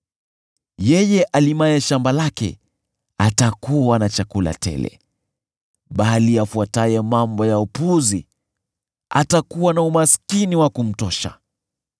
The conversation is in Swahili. Yeye alimaye shamba lake atakuwa na chakula tele, bali yule afuataye mambo ya upuzi atakuwa na umaskini wa kumtosha.